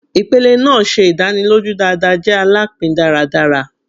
Ipele naa ṣe idaniloju dada jẹ alapin daradara